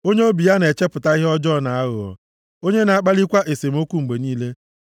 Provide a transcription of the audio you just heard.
Onye obi ya na-echepụta ihe ọjọọ na aghụghọ, onye na-akpalikwa esemokwu mgbe niile.